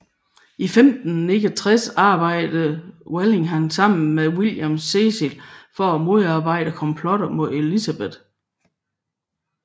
I 1569 arbejdede Walsingham sammen med William Cecil for at modarbejde komplotter mod Elizabeth